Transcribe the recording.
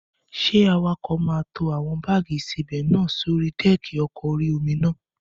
Ṣé awakọ̀ máa tó àwọn báàgì ìsebẹ̀ náà sórí dẹ́ẹ̀kì ọkọ̀ orí-omi náà?